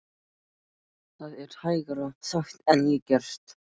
Það er hægara sagt en gert.